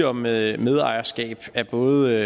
om medejerskab af både